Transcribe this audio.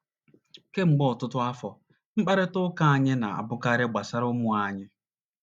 Kemgbe ọtụtụ afọ, mkparịta ụka anyị na - abụkarị gbasara ụmụ anyị.